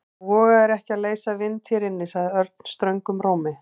Þú vogar þér ekki að leysa vind hér inni sagði Örn ströngum rómi.